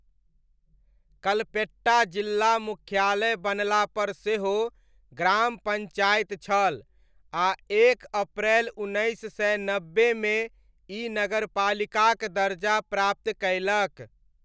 कल्पेट्टा जिल्ला मुख्यालय बनलापर सेहो ग्राम पञ्चायत छल आ एक अप्रैल उन्नैस सय नब्बेमे ई नगरपालिकाक दर्जा प्राप्त कयलक।